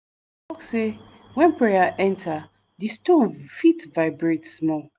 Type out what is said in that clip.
dem talk say when prayer enter di stone fit vibrate small.